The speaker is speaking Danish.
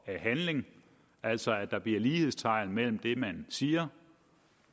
handling altså at der bliver sat lighedstegn imellem det man siger